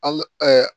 An